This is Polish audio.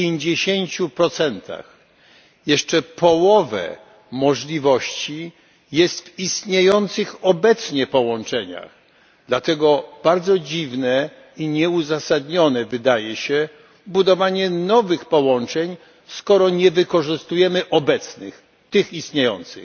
50. Jeszcze połowę możliwości jest w istniejących obecnie połączeniach, dlatego bardzo dziwne i nieuzasadnione wydaje się budowanie nowych połączeń, skoro nie wykorzystujemy obecnych, tych istniejących.